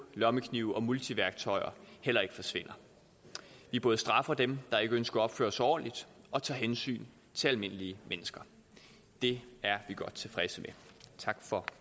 lommeknive og multiværktøjer heller ikke forsvinder vi både straffer dem der ikke ønsker at opføre sig ordentligt og tager hensyn til almindelige mennesker det er vi godt tilfredse med tak for